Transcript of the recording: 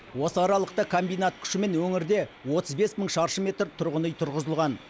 осы аралықта комбинат күшімен өңірде отыз бес мың шаршы метр тұрғын үй тұрғызылған